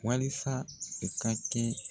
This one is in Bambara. Walisa u ka kɛ